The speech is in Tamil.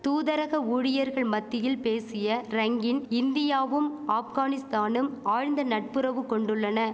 தூதரக ஊழியர்கள் மத்தியில் பேசிய ரங்கின் இந்தியாவும் ஆப்கானிஸ்தானும் ஆழ்ந்த நட்புறவு கொண்டுள்ளன